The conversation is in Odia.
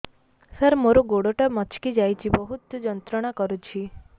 ସାର ମୋର ଗୋଡ ଟା ମଛକି ଯାଇଛି ବହୁତ ଯନ୍ତ୍ରଣା କରୁଛି